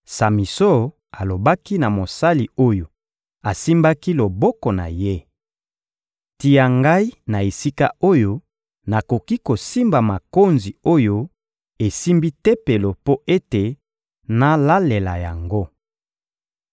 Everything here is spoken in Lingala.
Samison alobaki na mosali oyo asimbaki loboko na ye: «Tia ngai na esika oyo nakoki kosimba makonzi oyo esimbi tempelo mpo ete nalalela yango.»